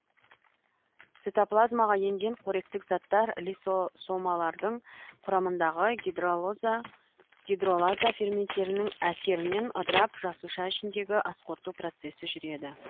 цитоплазмаға енген қоректік заттар лизосомалардың құрамындағы гидролаза ферменттерінің әсерінен ыдырап жасуша ішіндегі асқорыту процесі жұреді